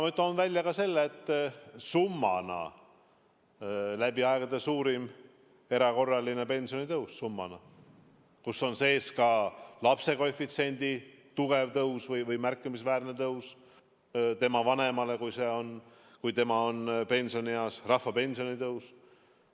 Ma toon välja ka selle, et summana läbi aegade on suurim erakorraline pensionitõus, seal sees on ka lapsekoefitsiendi tugev või märkimisväärne tõus tema vanemale, kui see on pensionieas, rahvapensioni tõus.